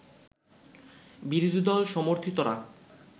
বিরোধী দল সমর্থিতরা